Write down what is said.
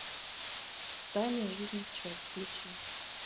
тайная жизнь пчел включи